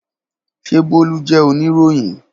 Ṣe Bolu jẹ oniroyin?